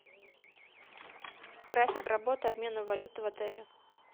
график работы обмена валюты в отеле